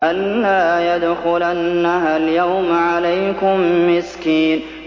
أَن لَّا يَدْخُلَنَّهَا الْيَوْمَ عَلَيْكُم مِّسْكِينٌ